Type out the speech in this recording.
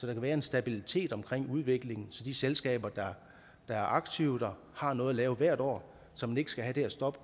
kan være en stabilitet omkring udviklingen så de selskaber der er aktive har noget at lave hvert år så man ikke skal have det her stop